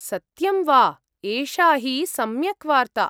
सत्यं वा? एषा हि सम्यक् वार्ता।